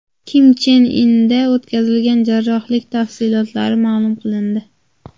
Kim Chen Inda o‘tkazilgan jarrohlik tafsilotlari ma’lum qilindi.